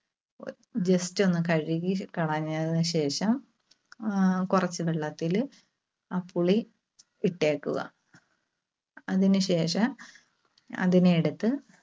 just ഒന്ന് കഴുകിക്കളഞ്ഞതിന് ശേഷം ആഹ് കുറച്ച് വെള്ളത്തില് ആ പുളി ഇട്ടേക്കുക. അതിന് ശേഷം അതിനെ എടുത്ത്